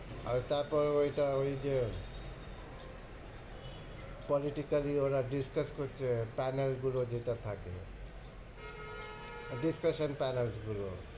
আর তারপর ওইটা ঐযে politically ওরা discuss করছে pannel গুলো যেটা থাকে আহ discussion pannels গুলো।